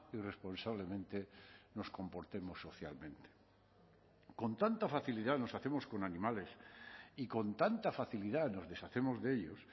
irresponsablemente nos comportemos socialmente con tanta facilidad nos hacemos con animales y con tanta facilidad nos deshacemos de ellos